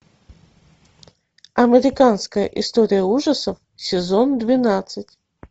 американская история ужасов сезон двенадцать